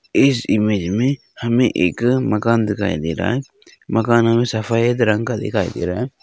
इस इमेज में हमे एक मकान दिखाई दे रहा है मकान सफेद रंग का दिखाई दे रहा है।